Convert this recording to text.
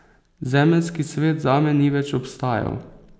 Zemeljski svet zame ni več obstajal.